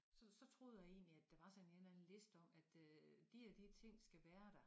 Så så troede jeg egentlig at der var sådan en eller anden liste om at øh de og de ting skal være der